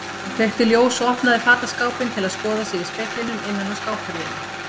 Hann kveikti ljós og opnaði fataskápinn til að skoða sig í speglinum innan á skáphurðinni.